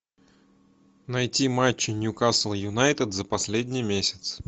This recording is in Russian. найти матчи ньюкасл юнайтед за последний месяц